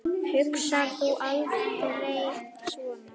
Hugsar þú aldrei svona?